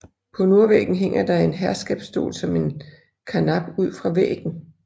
På nordvæggen hænger der en herskabsstol som en karnap ud fra væggen